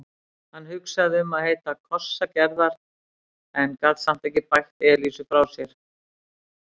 Hann hugsaði um heita kossa Gerðar en gat samt ekki bægt Elísu frá sér.